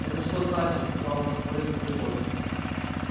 это что значит сказал нахмурясь пугачёв